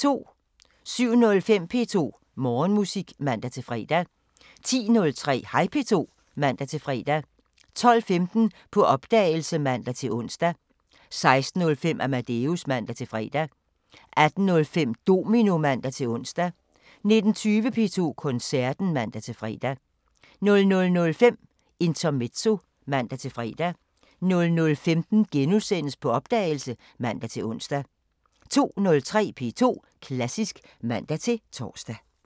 07:05: P2 Morgenmusik (man-fre) 10:03: Hej P2 (man-fre) 12:15: På opdagelse (man-ons) 16:05: Amadeus (man-fre) 18:05: Domino (man-ons) 19:20: P2 Koncerten (man-fre) 00:05: Intermezzo (man-fre) 00:15: På opdagelse *(man-ons) 02:03: P2 Klassisk (man-tor)